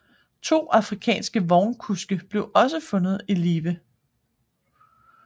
To afrikanske vognkuske blev også fundet i live